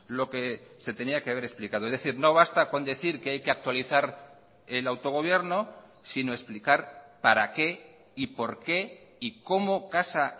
lo que se tenía que haber explicado es decir no basta con decir que hay que actualizar el autogobierno sino explicar para qué y por qué y cómo casa